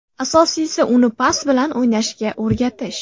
Asosiysi uni pas bilan o‘ynashga o‘rgatish.